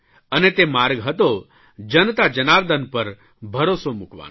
અને તે માર્ગ હતો જનતા જનાર્દન પર ભરોસો મૂકવાનો